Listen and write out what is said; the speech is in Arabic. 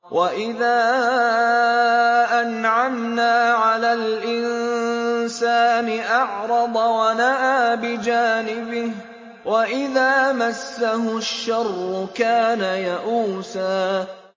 وَإِذَا أَنْعَمْنَا عَلَى الْإِنسَانِ أَعْرَضَ وَنَأَىٰ بِجَانِبِهِ ۖ وَإِذَا مَسَّهُ الشَّرُّ كَانَ يَئُوسًا